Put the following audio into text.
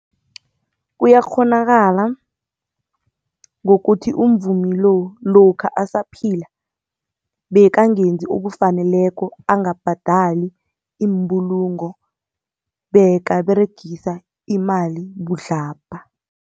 Kuyakghonakala ngokuthi umvumi lo, lokha asaphila bekangenzi okufaneleko, angabhadali imbulungo bekaberegisa imali budlabha.